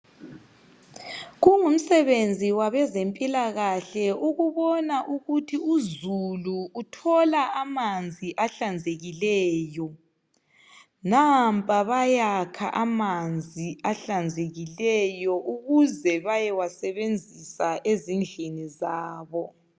Kungumsebenzi wabezempilakahle ukubona ukuthi uzulu uthola amanzi ahlanzekileyo. Nampa bayakha amanzi ahlanzekileyo ukuze baye wasebenzisa ezindlini zabo.